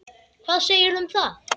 Hvað segirðu um það?